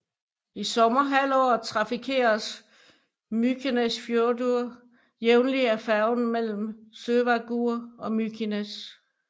I sommerhalvåret trafikeres Mykinesfjørður jævnlig af færgen mellem Sørvágur og Mykines